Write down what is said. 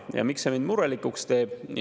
Ja miks see mind murelikuks teeb?